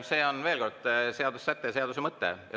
See on, veel kord, seaduse säte ja seaduse mõte.